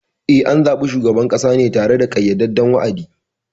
Eh, an zaɓi shugaban ƙasa ne tare da ƙayyadadden wa’adi.